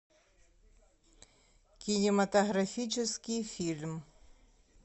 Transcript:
кинематографический фильм